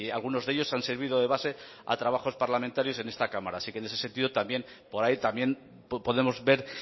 algunos de ellos han servido de base a trabajos parlamentarios en esta cámara así que en ese sentido por ahí también podemos ver